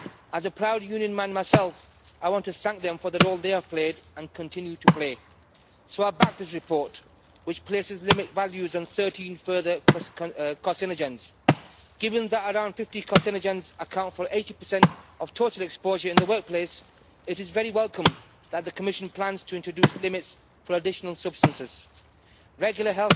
As a proud union man myself, I want to thank them for the role they have played and continue to play. So about this report, which places limit values and 13 further carcinogens given that around 50 carcinogens account for 80 of total exposure in the workplace, it is very welcome that the Commission plans to introduce limits for additional substances. Regular